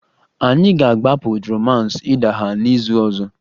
Anyị ga-agbapụ romance idaha n'izu ọzọ